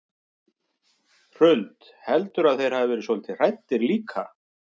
Hrund: Heldurðu að þeir hafi verið svolítið hræddir líka?